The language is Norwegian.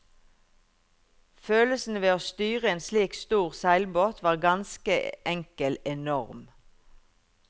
Følelsen ved å styre en slik stor seilbåt var ganske enkel enorm.